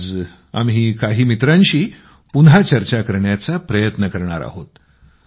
आज आम्ही काही मित्रांशी पुन्हा चर्चा करण्याचा प्रयत्न करणार आहोत